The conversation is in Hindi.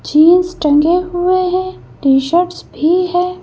जींस टंगे हुए है टी शर्ट्स भी है।